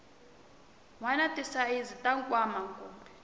wana tisayizi ta nkwama kumbe